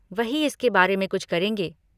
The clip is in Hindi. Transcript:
वही इसके बारे में कुछ करेंगे।